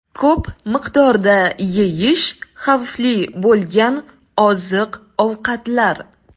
Ko‘p miqdorda yeyish xavfli bo‘lgan oziq-ovqatlar.